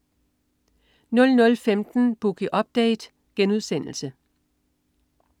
00.15 Boogie Update*